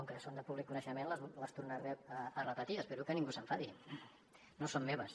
i com que són de públic coneixement les tornaré a repetir espero que ningú s’enfadi no són meves